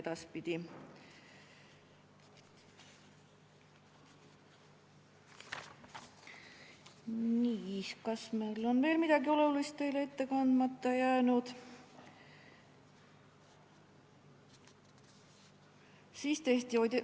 Nii, kas on veel midagi olulist teile ette kandmata jäänud?